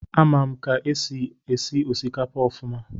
Amam ka esi esi osikapa ofuma.